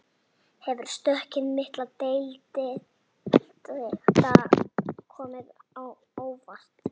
Hefur stökkið milli deilda komið á óvart?